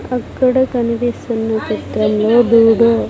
అక్కడ కనిపిస్తున్న చిత్రం లో బోర్డు .